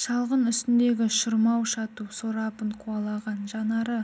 шалғын үстіндегі шырмау-шату сорабын қуалаған жанары